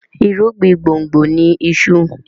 irugbin gbongbo ní iṣu.